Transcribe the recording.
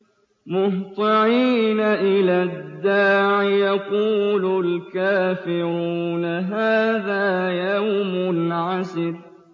مُّهْطِعِينَ إِلَى الدَّاعِ ۖ يَقُولُ الْكَافِرُونَ هَٰذَا يَوْمٌ عَسِرٌ